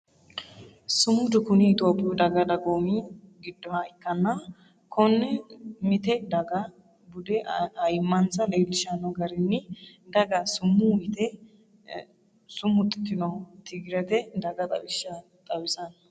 Sumudu kuni itophiyu daga dagoomi giddoha ikkanna kone mite daga bude ayimmansa leelishano garinni daga summu yte sumuxitinoho Tigirete daga xawisanoho